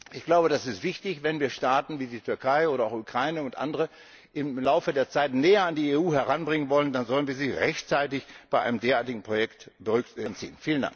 Ich glaube, es ist wichtig, wenn wir Staaten wie die Türkei oder auch die Ukraine und andere im Laufe der Zeit näher an die EU heranbringen wollen, dann sollten wir sie rechtzeitig bei einem derartigen Projekt hinzuziehen!